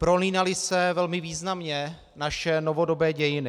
Prolínaly se velmi významně naše novodobé dějiny.